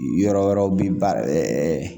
Yɔrɔ wɛrɛw bi baara